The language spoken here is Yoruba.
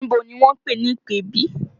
Ibo ni wọ́n ń pè ní ìpèbí?